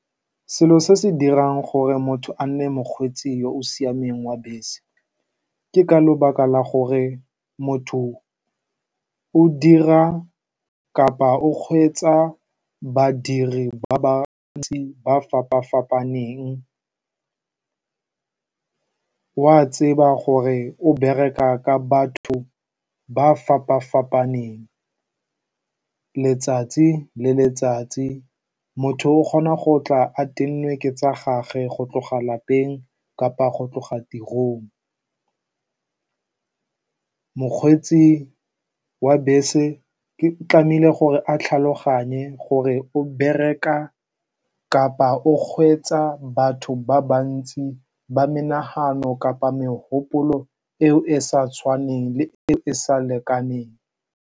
Selo se se dirang gore motho a nne mokgweetsi yo o siameng wa bese ke ka lebaka la gore motho o dira kapa o kgweetsa badiri ba ba ntsi, ba ba fapa-fapaneng. O a tseba gore o bereka ka batho ba ba fapa-fapaneng letsatsi le letsatsi. Motho o kgona go tla a tennwe ke tsa gagwe go tloga kwa lapeng kapa go tloga tirong. Mokgweetsi wa bese o tlameile gore a tlhaloganye gore o bereka kapa o kgweetsa batho ba bantsi, ba menagano kapa megopolo eo e e sa tshwaneng le eo e e sa lekaneng.